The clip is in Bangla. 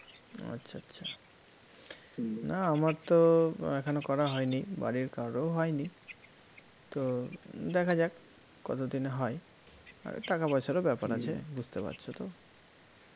না আমার তো এখনও করা হয়নি বাড়ির কারোর হয়নি তো দেখা যাক, কতদিনে হয়, টাকা পয়সারও ব্যাপার আছে বুঝতে পারছ তো